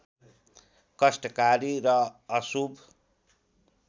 कष्टकारी र अशुभ